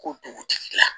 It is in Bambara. Ko dugutigi la